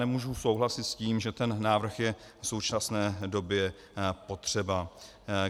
Nemohu souhlasit s tím, že ten návrh je v současné době potřeba.